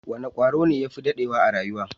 Wane kwaro ne ya fi dadewa a rayuwa?